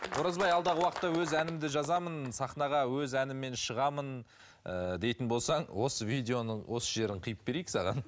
оразбай алдағы уақытта өз әнімді жазамын сахнаға өз әніммен шығамын ыыы дейтін болсаң осы видеоның осы жерін қиып берейік саған